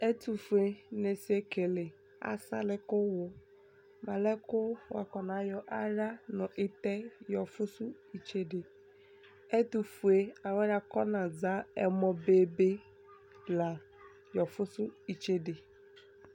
Ɛtʋfuenɩ ɛsɛekele asalɩ kʋ wʋ mʋ alɛna yɛ kʋ wʋakɔnayɔ aɣla nʋ ɩtɛ yɔfʋsʋ itsede Ɛtʋfue alʋ wanɩ akɔnaza ɛmɔbebe la yɔfʋsʋ itsede